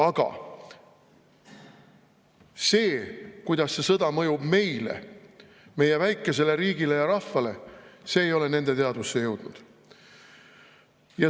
Aga see, kuidas see sõda mõjub meile, meie väikesele riigile ja rahvale, ei ole nende teadvusse jõudnud.